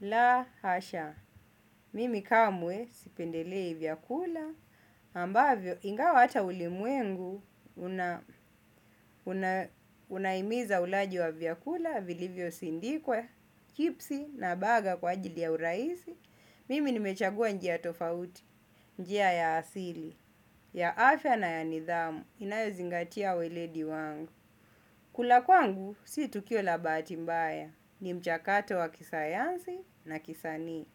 La hasha, mimi kamwe sipendelei vyakula, ambavyo ingawa hata ulimwengu una unahimiza ulaji wa vyakula vili yosindikwe, kipsi na baga kwa ajili ya urahisi, mimi nimechagua njia tofauti, njia ya asili, ya afya na ya nidhamu, inayozingatia weledi wangu. Kula kwangu, si tukio la bahati mbaya, ni mchakato wa kisayansi na kisanii.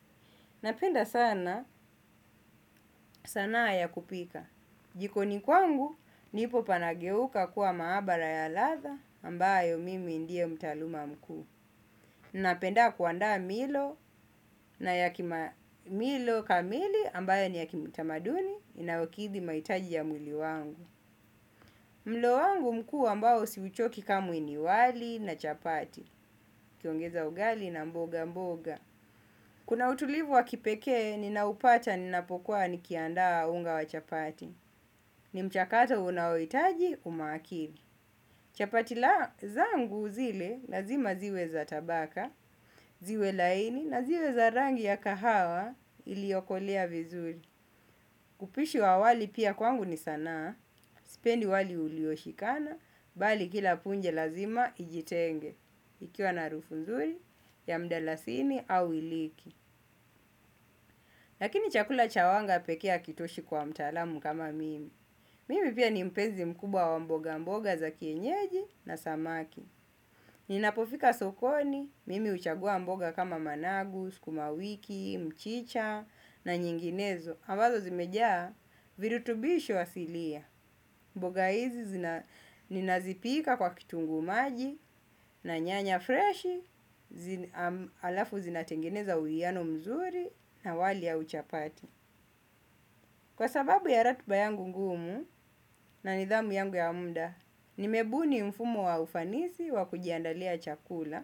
Napenda sana, sanaa ya kupika. Jikoni kwangu, nipopanageuka kuwa maabara ya ladha ambayo mimi ndie mtaaluma mkuu. Napenda kuandaa milo na yaki milo kamili ambayo ni ya kimutamaduni inayokithi mahitaji ya mwili wangu. Mlo wangu mkuu ambayo siuchoki kamwe ni wali na chapati. Kiongeza ugali na mboga mboga. Kuna utulivu wa kipekee, ninaupata, ninapokuwa, nikiandaa unga wa chapati. Ni mchakato unaohitaji, umakini. Chapati la zangu zile, lazima ziwe za tabaka, ziwe laini, na ziwe za rangi ya kahawa, iliokolea vizuri. Upishi wa wali pia kwangu ni sanaa sipendi wali ulioshikana bali kila punge ijitenge ikiwa na harufu mzuri ya mdarasini au iriki. Lakini chakula cha wanga pekee hakitoshi kwa mtaalamu kama mimi. Mimi pia ni mpenzi mkubwa wa mboga mboga za kienyeji na samaki. Ninapofika sokoni, mimi huchagua mboga kama managu, sukumawiki, mchicha na nyinginezo ambazo zimejaa virutubishi wa silia. Mboga hizi zina ninazipika kwa kitungu maji na nyanya fresh alafu zinatengeneza uwiano mzuri na wali au chapati. Kwa sababu ya ratiba yangu ngumu na nidhamu yangu ya muda, nimebuni mfumo wa ufanisi wa kujiandalia chakula.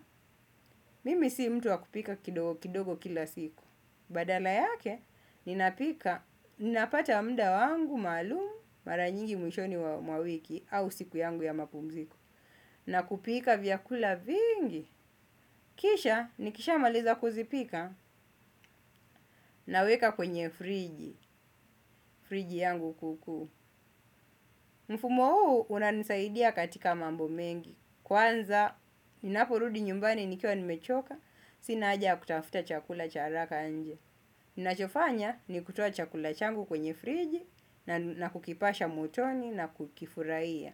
Mimi si mtu wa kupika kidogo kidogo kila siku. Badala yake, ninapika, ninapata muda wangu maalumu mara nyingi mwishoni wa mwa wiki au siku yangu ya mapumziko. Na kupika vyakula vingi, kisha, nikisha maliza kuzipika, naweka kwenye friji, friji yangu kukuu. Mfumo huu, unanisaidia katika mambo mengi. Kwanza, ninaporudi nyumbani nikiwa nimechoka, sina haja ya kutafuta chakula cha haraka nje. Ninachofanya ni kutoa chakula changu kwenye friji na kukipasha motoni na kukifurahia.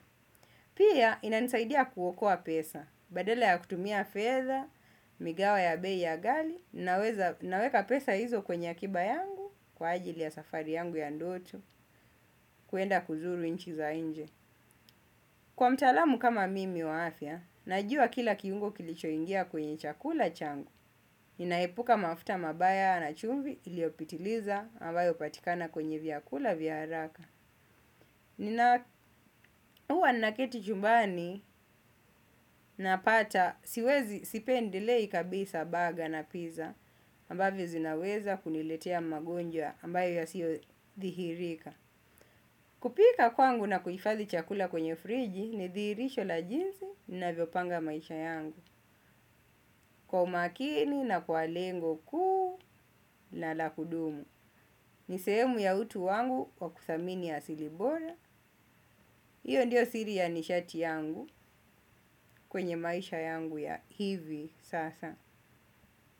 Pia inanisaidia kuokoa pesa, badala ya kutumia fedha, migao ya bei ghali. Naweka pesa hizo kwenye akiba yangu, kwa ajili ya safari yangu ya ndoto, kuenda kuzuru inchi za nje. Kwa mtaalamu kama mimi wa afya, najua kila kiungo kilichoingia kwenye chakula changu. Ninaepuka mafuta mabaya na chumvi iliopitiliza ambayo hupatikana kwenye vyakula, vya haraka. Nina huwa naketi chumbani napata siwezi sipendelei kabisa baga na pizza amabvyo zinaweza kuniletea magonjwa ambayo yasiyodhihirika. Kupika kwangu na kuhifadhi chakula kwenye friji ni dhirisho la jinsi navyopanga maisha yangu. Kwa umakini na kwa lengo kuu na la kudumu. Ni sehemu ya utu wangu wa kwa kuthamini asili bora. Iyo ndio siri ya nishati yangu kwenye maisha yangu ya hivi sasa.